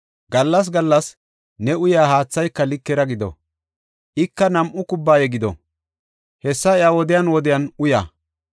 Gallas gallas ne uyaa haathayka likera gido; ika nam7u kubbaya gido; hessa iya woden woden uya.